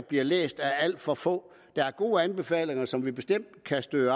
bliver læst af alt for få der er gode anbefalinger som vi bestemt kan støtte